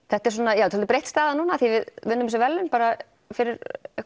þetta er svolítið breytt staða núna af því við unnum þessi verðlaun bara fyrir